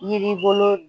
Yiri bolo